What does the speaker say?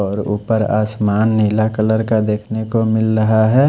और उपर आसमान नीला कलर का देखने को मिल रहा है।